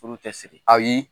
Furu tɛ siri? Ayi.